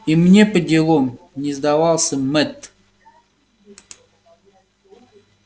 и мне поделом не сдавался мэтт